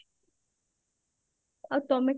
ଆଉ ତମେ